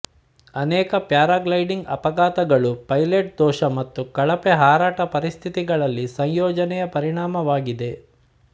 ಅನೇಕ ಪ್ಯಾರಾಗ್ಲೈಡಿಂಗ್ ಅಪಘಾತಗಳು ಪೈಲಟ್ ದೋಷ ಮತ್ತು ಕಳಪೆ ಹಾರಾಟ ಪರಿಸ್ಥಿತಿಗಳಲ್ಲಿ ಸಂಯೋಜನೆಯ ಪರಿಣಾಮವಾಗಿದೆ